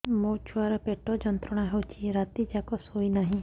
ମୋ ଛୁଆର ପେଟ ଯନ୍ତ୍ରଣା ହେଉଛି ରାତି ଯାକ ଶୋଇନାହିଁ